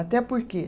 Até porque